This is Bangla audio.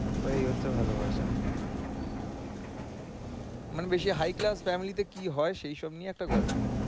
তো এই হচ্ছে ভালোবাসা। মানে দেশে high class family তে কি হয় সেইসব নিয়ে এত গল্প